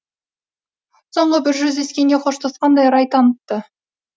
соңғы бір жүздескенде қоштасқандай рай танытты